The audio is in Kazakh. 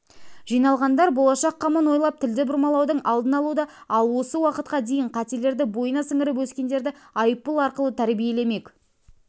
жиналғандар болашақ қамын ойлап тілді бұрмалаудың алдын алуда ал осы уақытқа дейін қателерді бойына сіңіріп өскендерді айыппұл арқылы тәрбиелемек